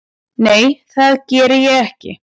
Nei það geri ég ekki.